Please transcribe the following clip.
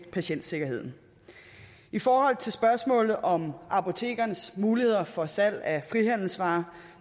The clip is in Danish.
patientsikkerheden i forhold til spørgsmålet om apotekerens muligheder for salg af frihandelsvarer